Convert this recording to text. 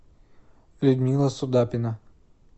людмила судапина